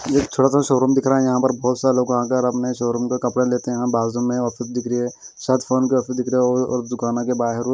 यह छोटा सा शोरूम दिख रहा है यहां पर बहुत सारे लोग आ कर अपने शोरूम पे कपड़ा लेते हैं बाजू में ऑफिस दिख रही है साथ फोन की ऑफिस दिख रही और और दुकानों के बाहर--